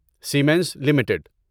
Simmons limited